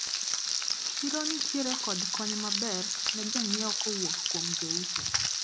Chiro nitiere kod kony maber ne jonyiewo kowuok kuom jouso.